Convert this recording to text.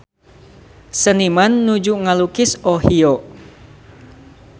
Seniman nuju ngalukis Ohio